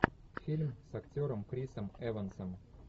фильм с актером крисом эвансом